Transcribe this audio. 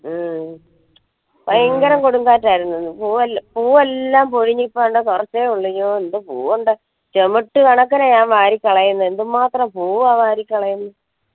മ്മ് ഭയങ്കര കൊടും കാറ്റായിരുന്നു പൂവല്ലം പൂവല്ലം പൊയിഞ്ഞു കുറച്ചേയുള്ളു അയ്യോ എന്ത് പൂവ്ണ്ട്‌ ചെമിട്ട് കണക്കിനാ ഞാൻ വാരി കളയുന്നു എന്ത് മാത്രം പൂവാണ് വാരി കളയുന്നെ